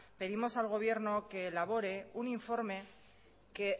pedimos al gobierno que elabore un informe que